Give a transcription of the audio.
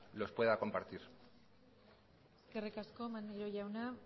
los pueda compartir eskerrik asko maneiro jauna